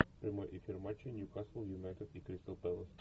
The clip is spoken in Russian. прямой эфир матча ньюкасл юнайтед и кристал пэлас